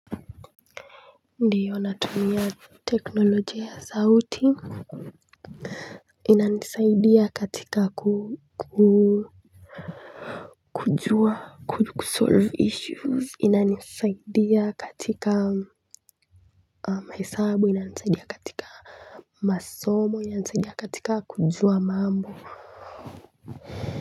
Ndiyo, natumia teknolojia ya sauti inanisaidia katika kujua kusolve issues. Inanisaidia katika hesabu inanisaidia katika masomo inanisaidia katika kujua mambo.